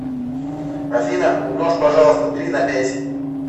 афина умножь пожалуйста три на пять